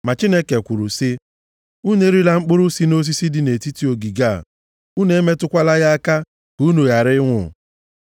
ma Chineke kwuru sị, ‘Unu erila mkpụrụ si nʼosisi dị nʼetiti ogige a, unu emetụkwala ya aka, ka unu ghara ịnwụ.’ ”